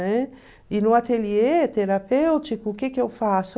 Né? E no ateliê terapêutico, o que que eu faço?